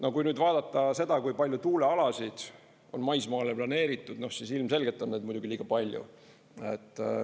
No kui nüüd vaadata seda, kui palju tuulealasid on maismaale planeeritud, siis ilmselgelt on neid muidugi liiga palju.